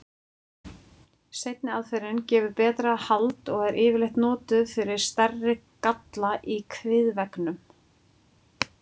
Seinni aðferðin gefur betra hald og er yfirleitt notuð fyrir stærri galla í kviðveggnum.